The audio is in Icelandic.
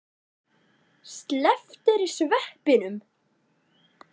Slepptirðu sveppunum?